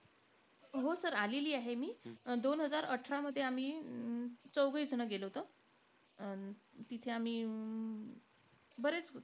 हो sir आलेली आहे मी. दोन हजार अठरामध्ये आम्ही अं चौघेहीजण गेलो होतो अं तिथे आम्ही अं बरेच,